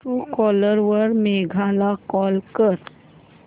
Truecaller वर मेघा ला call कर